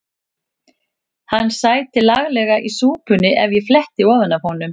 Hann sæti laglega í súpunni ef ég fletti ofan af honum.